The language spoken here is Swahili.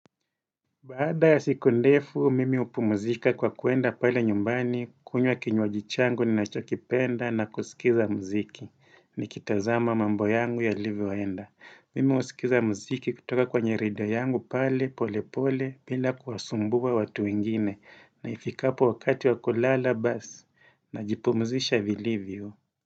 Baada ya siku ndefu, mimi hupumuzika kwa kuenda pale nyumbani, kunywa kinywaji changu ninacho kipenda na kusikiza mziki. Ni kitazama mambo yangu yalivo enda. Mimi husikiza mziki kutoka kwa nyerida yangu pale pole pole bila kuwasumbua watu wengine na ifikapo wakati wakulala bas na jipumuzisha vilivyo.